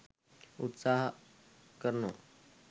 උත්සාහ කරනවා.